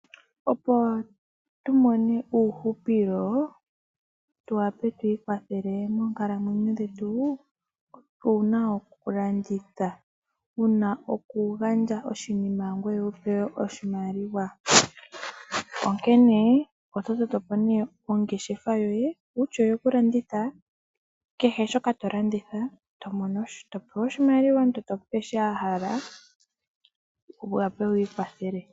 Opo tu mone uuhupilo tu wape tu ikwathele moonkalamwenyo dhetu otu na okulanditha. Owu na okugandja oshinima ngoye to pewa oshimaliwa, onkene oto toto po nduno ongeshefa yoye kutya oyokulanditha. Kehe shoka to landitha, to mono sha. To pewa oshimaliwa, omuntu te ku pe sho a hala, opo wu wape wi ikwathele.